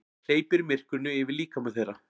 Hleypir myrkrinu yfir líkama þeirra.